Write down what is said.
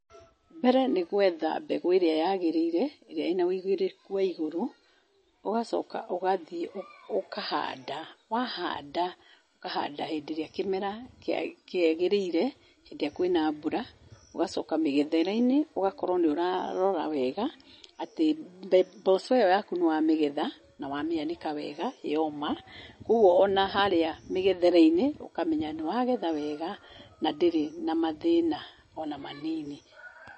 Mbere nĩ gwetha mbegũ ĩrĩa yagĩrĩire, ĩrĩa ĩna ũigĩrĩrĩku wa igũrũ, ũgacoka ũgathiĩ ũkahanda. Wahanda, ũkahanda hĩndĩ ĩrĩa kĩmera kĩagĩrĩire, hĩndĩ ĩrĩa kwĩna mbura, ũgacoka mĩgethere-inĩ ũgakorwo nĩ ũrarora wega atĩ mboco ĩo yaku nĩ wa mĩgetha na wamĩanĩka wega yoma. Kũoguo ona harĩa mĩgethere-inĩ ũkamenya nĩwagetha wega na ndĩrĩ na mathĩna ona manini.